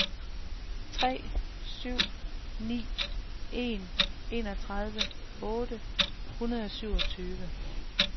tre syv ni en enogtredive otte hundrede og syvogtyve